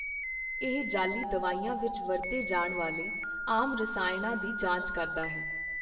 ਇਹ ਜਾਅਲੀ ਦਵਾਈਆਂ ਵਿੱਚ ਵਰਤੇ ਜਾਣ ਵਾਲੇ ਆਮ ਰਸਾਇਣਾਂ ਦੀ ਜਾਂਚ ਕਰਦਾ ਹੈ।